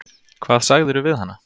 Hvað sagðirðu við hana?